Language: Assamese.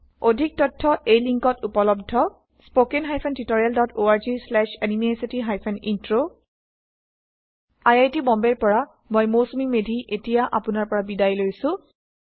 অধিক তথ্য এই লিংকত উপলব্ধhttpspoken tutorialorgNMEICT Intro I I T বম্বেৰ পৰা মই মৌচুমী মেধী বিদায় লৈছে